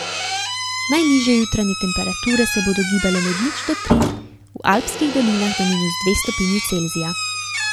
Najnižje jutranje temperature se bodo gibale med nič do tri, v alpskih dolinah do minus dve stopinji Celzija.